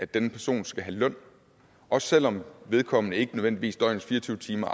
denne person skal have løn også selv om vedkommende ikke nødvendigvis aflaster døgnets fire og tyve timer